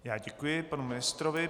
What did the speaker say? Já děkuji panu ministrovi.